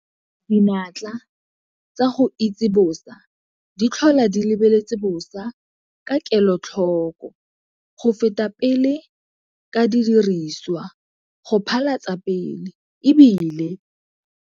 Dinatla tsa go itse bosa di tlhola di lebeletse bosa ka kelotlhoko go feta pele ka didiriswa go phala tsa pele, e bile.